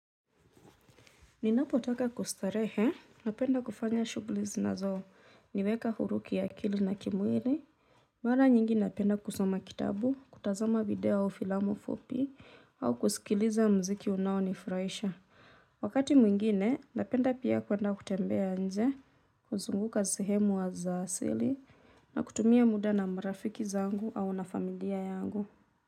Ninapotaka kustarehe, napenda kufanya shughuli zinazo, niweka huru kiakili na kimwili. Mara nyingi napenda kusoma kitabu, kutazama video au filamu fupi, au kusikiliza muziki unaonifurahisha. Wakati mwingine, napenda pia kwenda kutembea nje, kuzunguka sehemu wa za asili, na kutumia muda na marafiki zangu au na familia yangu.